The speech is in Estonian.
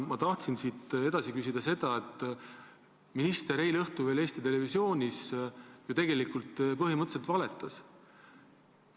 Ma tahan siit edasi küsida selle kohta, et minister oli alles eile õhtul Eesti Televisioonis ja tegelikult põhimõtteliselt valetas seal.